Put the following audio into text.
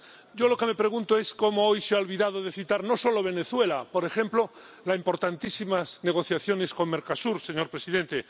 Yo me pregunto cómo hoy se ha olvidado de citar, no solo Venezuela, sino, por ejemplo, las importantísimas negociaciones con Mercosur, señor presidente.